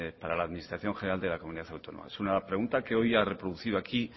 para la administración general de la comunidad autónoma vasca es una pregunta que hoy ha reproducido aquí